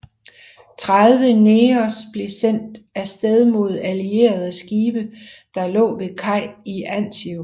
Tredive Negers blev sendt afsted mod Allierede skibe der lå ved kaj i Anzio